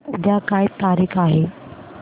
उद्या काय तारीख आहे